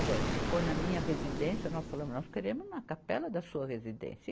Agora, se for na minha residência, nós falamos, nós queremos na capela da sua residência.